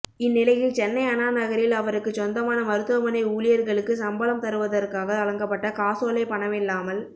இந்நிலையில் சென்னை அண்ணா நகரில் அவருக்குச் சொந்தமான மருத்துவமனை ஊழியர்களுக்கு சம்பளம் தருவதற்காக வழங்கப்பட்ட காசோலை பணமில்லாமல்